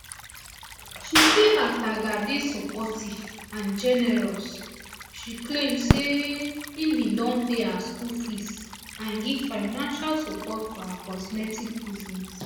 she say ataga dey supportive and generous she claim say um im bin don pay her school fees and give financial support for her cosmetics business